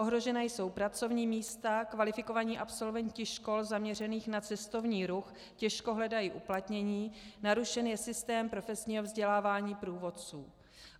Ohrožena jsou pracovní místa, kvalifikovaní absolventi škol zaměřených na cestovní ruch těžko hledají uplatnění, narušen je systém profesního vzdělávání průvodců.